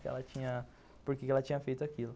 Que ela tinha... Por que que ela tinha feito aquilo.